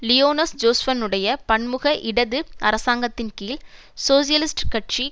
Lionel ஜோஸ்பன்னுடைய பன்முக இடது அரசாங்கத்தின் கீழ் சோசியலிஸ்ட் கட்சி